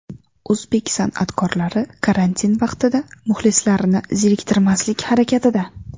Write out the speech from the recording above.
O‘zbek san’atkorlari karantin vaqtida muxlislarini zeriktirmaslik harakatida.